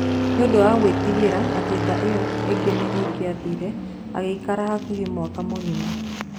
Nĩ ũndũ wa gwĩtigĩra atĩ nda ĩyo ĩngĩ nĩ ĩngĩathire, agĩikara hakuhĩ mwaka mũgima.